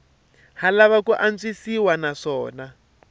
ha lava ku antswisiwa naswona